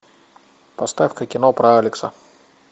поставь ка кино про алекса